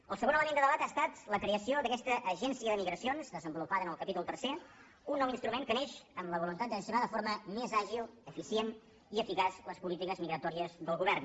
el segon element de debat ha estat la creació d’aquesta agència de migracions desenvolupada en el capítol tercer un nou instrument que neix amb la voluntat de gestionar de forma més àgil eficient i eficaç les polítiques migratòries del govern